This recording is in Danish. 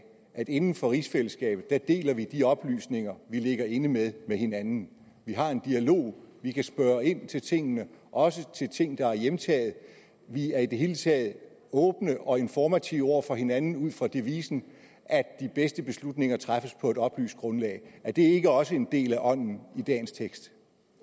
at inden for rigsfællesskabet deler vi de oplysninger vi ligger inde med med hinanden vi har en dialog vi kan spørge ind til tingene også til ting der er hjemtaget vi er i det hele taget åbne og informative over for hinanden ud fra devisen at de bedste beslutninger træffes på et oplyst grundlag er det ikke også en del af ånden i dagens tekst